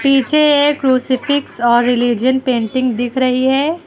पीछे एक क्रूसिफ़िक्स और रिलिजन पेंटिंग दिख रही है।